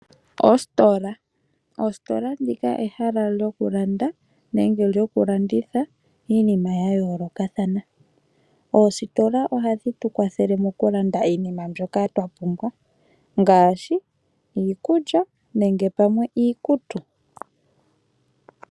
Oositola odho ehala lyokulanda nenge lyokulanditha iinima yayoolokathana. Oositola ohadhi tu kwathele mokulanda iinima mbyoka twapumbwa ngaashi iikulya nenge pamwe iikutu.